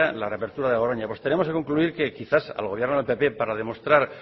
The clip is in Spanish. la reapertura de garoña pues tenemos que concluir que quizás al gobierno del pp para demostrar